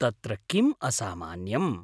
तत्र किम् असामान्यम्?